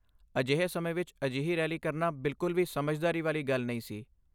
ਅਜਿਹੇ ਸਮੇਂ ਵਿਚ ਅਜਿਹੀ ਰੈਲੀ ਕਰਨਾ ਬਿਲਕੁਲ ਵੀ ਸਮਝਦਾਰੀ ਵਾਲੀ ਗੱਲ ਨਹੀਂ ਸੀ।